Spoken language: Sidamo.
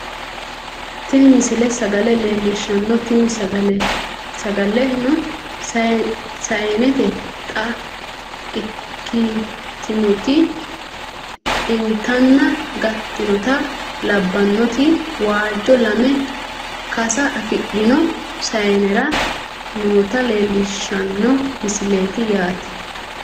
tini misile sagale leellishshanno tini sagaleno sayeente xe"a ikkitinoti inatanna gattinota labbannoti waajjo lame kasa afidhino sayeenera noota leellishshanno misileeti yaate